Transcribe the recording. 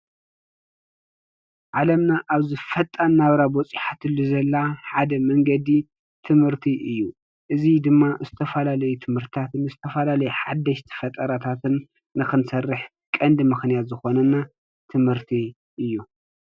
ዓለምና እዚ ሕዚ በፂሓቶ ዘላ ፈጣን መንገዲ ንክትበፅሕ ቀንዲ ምክንየት ትምህርቲ እዩ። እዚ ድማ ዝተፈላለዩ ሓደሽቲ ፈጠራታት ንክንሰርሕ ቀንዲ ምኽንያት ትምህርቲ እዩ።